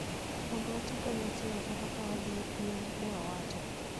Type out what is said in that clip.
mondo wati kanyachiel kata ka wadhi e piem, ne owacho.